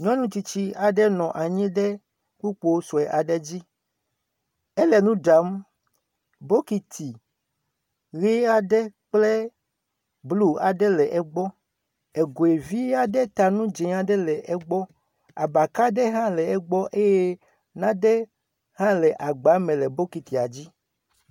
Nyɔnu tsitsi aɖe nɔ anyi ɖe kpukpoi sue aɖe dzi. Ele nu ɖam. Bɔkiti ʋi aɖe kple blu aɖe l;el egbɔ. Egoe vi aɖe ta nu dzi aɖe le egbɔ. Abaka ɖe hã le egbɔ eye naɖe hã le agba me le bɔkitia dzi